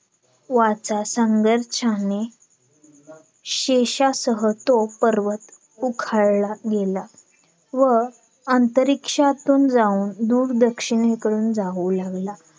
तुमच्या मुलाला काय सांगितलं बाबा तू project घेतले बरोबर अंकितने project अंकित काय बोलला.